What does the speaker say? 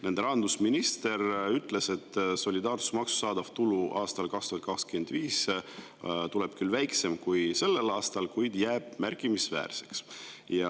Nende rahandusminister ütles, et solidaarsusmaksust saadav tulu aastal 2025 tuleb küll väiksem kui sellel aastal, kuid jääb märkimisväärseks.